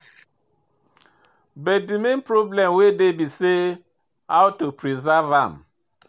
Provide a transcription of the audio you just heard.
But de main problem wey dey be say how to preserve am.